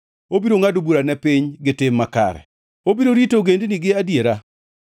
Obiro ngʼado bura ne piny gi tim makare; obiro rito ogendini gi adiera.